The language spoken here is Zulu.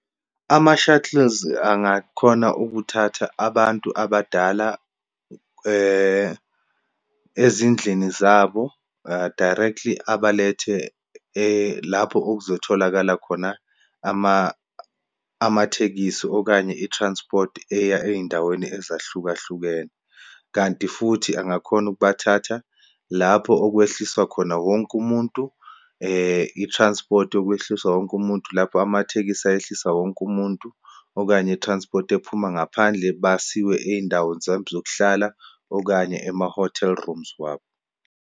Ama-shuttles angakhona ukuthatha abantu abadala ezindlini zabo directly abalethe lapho okuzotholakala khona ama, amathekisi, okanye i-transport eya eyindaweni ezahlukahlukene. Kanti futhi angakhona ukubathatha lapho okwehliswa khona wonke umuntu, i-transport yokwehliswa wonke umuntu, lapho amathekisi ayehlisa wonke umuntu, okanye i-transport ephuma ngaphandle, basiwe eyindaweni zabo zokuhlala, okanye ema-hotel rooms wabo.